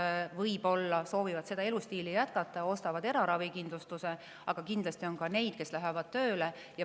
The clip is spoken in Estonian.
Osa võib-olla soovib seda elustiili jätkata ja ostab eraravikindlustuse, aga kindlasti on ka neid, kes lähevad tööle.